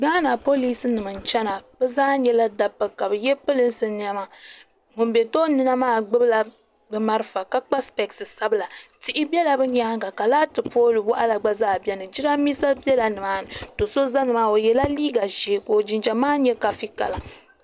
Gaana polisi nima n chena bɛ zaa nyɛla dabba ka bɛ ye pirinsi niɛma ŋun be tooni na maa gbibila bɛ marafa ka kpa sipesi sabila tihi bela bɛ nyaanga ka laati pooli waɣala gba zaa biɛni jirambisa biɛla nimaani do'so zala nimaani o yela liiga ʒee jinjiɛm maa nyɛ kafi kala.